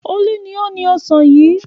Olú ni ó ni ọ̀sán yìí.